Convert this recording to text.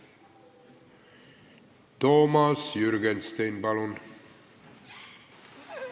Toomas Jürgenstein, palun!